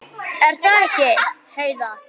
Er það ekki, Heiða?